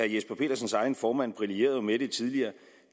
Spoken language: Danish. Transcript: jesper petersens egen formand brillerede jo med det tidligere